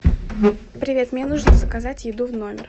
привет мне нужно заказать еду в номер